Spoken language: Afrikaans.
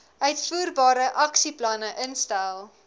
uitvoerbare aksieplanne instel